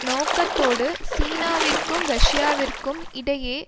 நோக்கத்தோடு சீனாவிற்கும் ரஷ்யாவிற்கும் இடையே